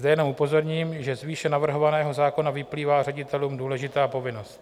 Zde jenom upozorním, že z výše navrhovaného zákona vyplývá ředitelům důležitá povinnost.